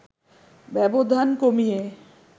ব্যবধান কমিয়ে